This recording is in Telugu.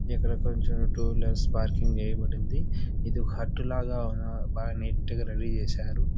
ఇక్కడ కొంచం టూ విలర్స్ పార్కింగ్ చేయబడింది. ఇది హట్టు లాగా ఉన్నారు. బాగా నీట్ గా రెడీ చేశారు.